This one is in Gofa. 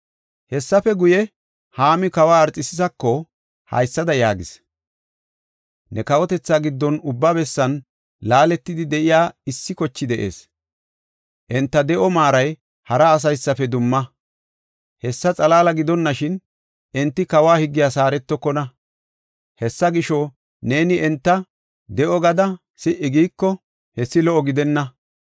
Hessafe guye, Haami kawa Arxekisisako haysada yaagis; “Ne kawotethaa giddon ubba bessan laaletidi de7iya issi kochay de7ees. Enta de7o maaray hara asaysafe dumma; hessa xalaala gidonashin, enti kawo higgiyas haaretokona. Hessa gisho, neeni enta de7o gada si77i giiko, hessi lo77o gidenna.